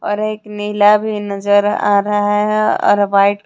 और एक नीला भी नजर आ रहा है और व्हाइट --